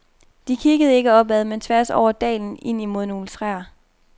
De kiggede ikke opad, men tværs over dalen imod nogle træer.